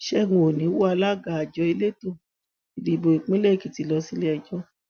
ṣẹgun òní wọ alága àjọ elétò ìdìbò ìpínlẹ èkìtì lọ síleẹjọ